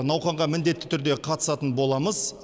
науқанға міндетті түрде қатысатын боламыз